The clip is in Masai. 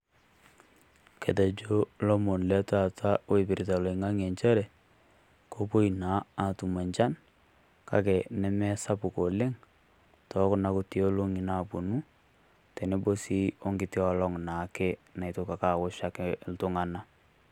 Ketejo lomon le taata oipirta oloing'ang'e nchere, kowoi naa atum nchan, kake nemesapuk oleng, too kuna kuti olong'i nawuonu, tenebo naa sii we nkiti olong siake naitoki aosh iltung'ana.